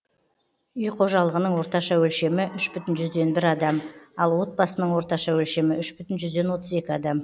үй қожалығының орташа өлшемі үш бүтін жүзден бір адам ал отбасының орташа өлшемі үш бүтін жүзден отыз екі адам